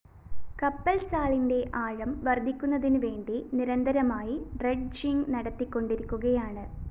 കപ്പല്‍ചാലിന്റെ ആഴം വര്‍ധിപ്പിക്കുന്നതിനുവേണ്ടി നിരന്തരമായി ഡ്രെഡ്ജിംഗ്‌ നടത്തിക്കൊണ്ടിരിക്കുകയാണ്